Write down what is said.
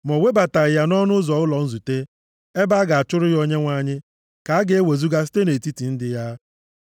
ma o webataghị ya nʼọnụ ụzọ ụlọ nzute, ebe a ga-achụrụ ya Onyenwe anyị, ka a ga-ewezuga site nʼetiti ndị ya.